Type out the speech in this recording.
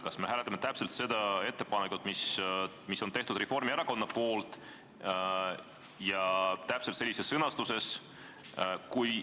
Kas me hääletame ettepanekut, mille on Reformierakonna fraktsioon teinud, täpselt sellises sõnastuses?